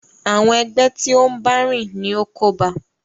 Àwọn ẹgbẹ́ tí o n bá rìn ní o kóba a.